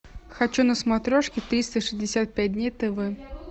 хочу на смотрешке триста шестьдесят пять дней тв